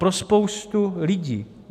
Pro spoustu lidí.